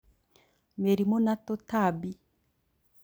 Mĩrimũ na tũtambi